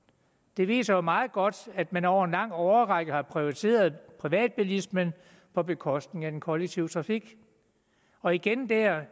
det viser jo meget godt at man over en lang årrække har prioriteret privatbilismen på bekostning af den kollektive trafik og igen er